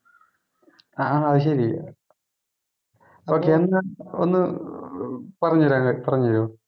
ആഹാ അത് ശെരി okay ഒന്ന് ഒന്ന് ഏർ പറഞ്ഞു തരാനായി പറഞ്ഞു തരുവോ